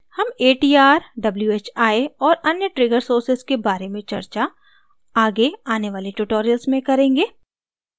हम atr whi और अन्य trigger sources के बारे में चर्चा आगे आने वाले tutorials में करेंगे